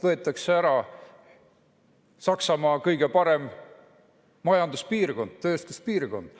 Võetakse ära Saksamaa kõige parem majanduspiirkond, tööstuspiirkond.